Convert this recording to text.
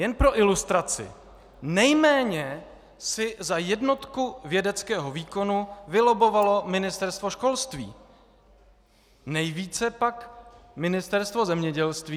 Jen pro ilustraci, nejméně si za jednotku vědeckého výkonu vylobbovalo Ministerstvo školství, nejvíce pak Ministerstvo zemědělství.